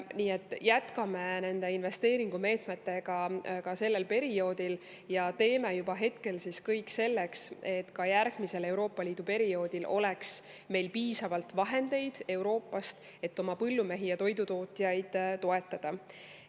Me jätkame nende investeeringumeetmetega ka sellel perioodil ja teeme juba hetkel kõik selleks, et ka järgmisel Euroopa Liidu perioodil me piisavalt vahendeid Euroopast, et oma põllumehi ja toidutootjaid toetada.